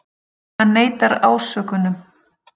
Hann neitar ásökunum